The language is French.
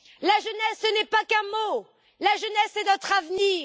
La jeunesse, ce n'est pas qu'un mot, la jeunesse, c'est notre avenir.